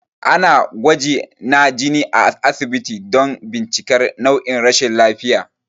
Ana gwaji na jini a asibiti don bincikar nau'in rashin lafiya